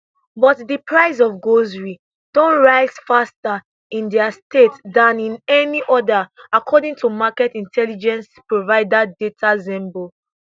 but di price of groceries don rise faster in dia state dan in any oda according to market intelligence provider datasembly